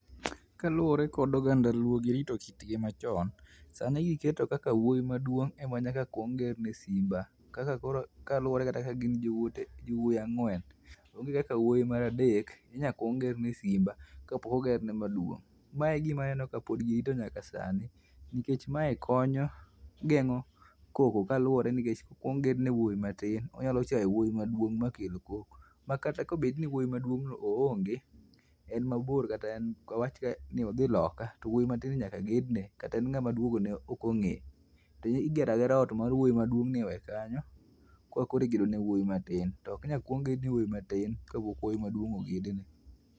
Kaluwore kod oganda luo girito kitgi machon, sani giketo kaka wuoyi maduong' ema nyaka kuong gerne simba kaka koro kaluwore kata ka gin jowuoyi ang'wen, onge kaka wuoyi mar adek inya kuong gerne simba kapok ogerne maduong'. Mae e gima aneno kapod girito nyaka sani nikech mae konyo geng'o koko kaluwore nikech kokuong gedne wuoyi matin, onyalo chayo wuoyi maduong' makel koko. Makata kobed ni wuoyi maduong'no oonge en mabor kata wawach kata ni odhi loka, to wuoyi matinni nyaka gedne kata en ng'ama duogone ok ong'e, to igera agera ot mar wuoyi maduong'ni iwe kanyo koro eka igedo ne wuoyi matin to oknyal kuong gedne wuoyi matin kapok wuoyi maduong' ogedne.